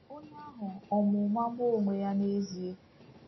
Onye ahụ ọ̀ ma ụma gbuo onwe ya n’ezie?